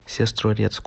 сестрорецку